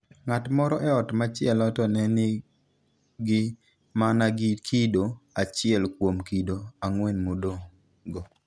Ng'at moro e ot machielo to ne nigi mana kido achiel kuom kido 4 madongo.